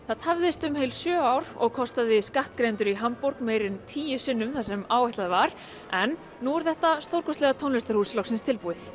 það tafðist um heil sjö ár og kostaði skattgreiðendur í Hamborg meira en tíu sinnum það sem áætlað var en nú er þetta stórkostlega tónlistarhús loksins tilbúið